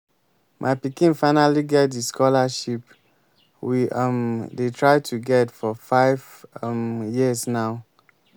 my pikin finally get the scholarship we um dey try to get for five um years now